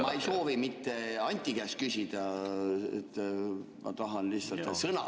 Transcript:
Ma ei soovi mitte Anti käest küsida, ma tahan lihtsalt sõna.